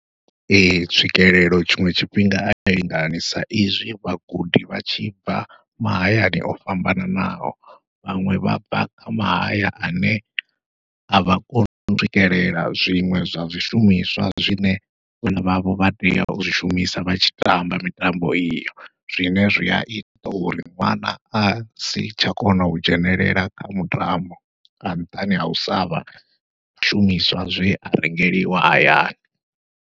Ee tswikelelo tshiṅwe tshifhinga ayi lingani, sa izwi vhagudi vha tshi bva mahayani o fhambananaho, vhaṅwe vha bva kha mahaya ane avha koni u swikelela zwiṅwe zwa zwishumiswa zwine vhana vhavho vha tea u zwi shumisa vha tshi tamba mitambo iyo. Zwine zwia ita uri ṅwana asi tsha kona u dzhenelela kha mutambo, nga nṱhani hau savha na zwishumiswa zwea rengeliwa hayani.